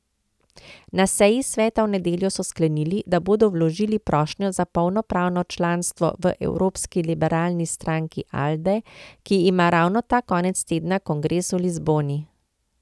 Na seji sveta v nedeljo so sklenili, da bodo vložili prošnjo za polnopravno članstvo v evropski liberalni stranki Alde, ki ima ravno ta konec tedna kongres v Lizboni.